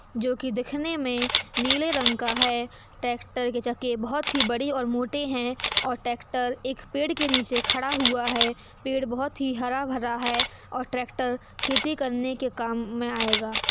जो कि दिखने में नीले रंग का है। ट्रैक्टर के चक्के बहोत ही बड़े और मोटे हैं और ट्रैक्टर एक पेड़ के नीचे खड़ा हुआ है। पेड़ बहोत ही हरा भरा है और ट्रैक्टर खेती करने के काम में आएगा।